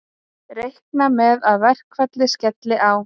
Reikna með að verkfallið skelli á